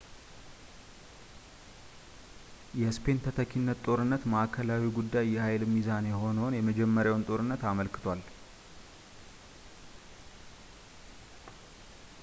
የስፔን ተተኪነት ጦርነት ማዕከላዊው ጉዳይ የኃይል ሚዛን የሆነውን የመጀመሪያውን ጦርነት አመልክቷል